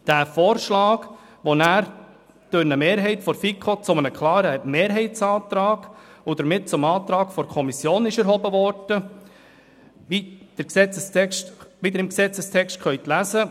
Der Vorschlag, der danach durch eine Mehrheit der FiKo zu einem klaren Mehrheitsantrag und damit zum Antrag der Kommission erhoben wurde, wie Sie im Gesetzesvortrag lesen können, ist Folgender: